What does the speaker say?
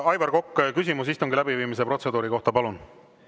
Aivar Kokk, küsimus istungi läbiviimise protseduuri kohta, palun!